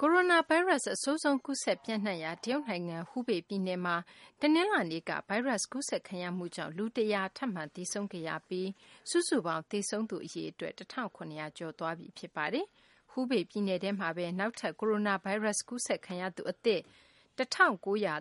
ကိုရိုနာဗိုင်းရပ်စ် အဆိုးဆုံး ကူးစက်ပျံ့နှံ့နေရာ တရုတ်နိုင်ငံ ဟူးဘေပြည်နယ်မှာ တနင်္လာနေ့က ဗိုင်းရပ်စ်ကူးစက်ခံရမှုကြောင့် လူ ၁၀၀ ထပ်မံ သေဆုံးခဲ့ပြီး စုစုပေါင်း သေဆုံးသူ အရေအတွက် ၁,၇၀၀ ကျော်သွားပြီ ဖြစ်ပါတယ်။ ဟူးဘေပြည်နယ်မှာပဲ နောက်ထပ် ကိုရိုနာဗိုင်းရပ်စ် ကူးစက်ခံရသူ အသစ် ၁,၉၃၃